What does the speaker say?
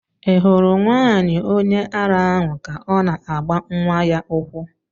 Ị hụrụ nwaanyị onye ara ahụ ka ọ na-agba nwa ya ụkwụ?